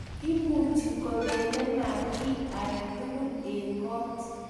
imuchi kobele maaat kiy age tugul eng' koot